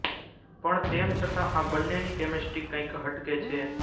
પણ તેમ છતાં આ બન્નેની કેમેસ્ટ્રી કંઇક હટકે છે